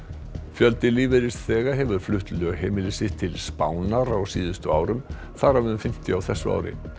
fjöldi lífeyrisþega hefur flutt lögheimili sitt til Spánar á síðustu árum þar af um fimmtíu á þessu ári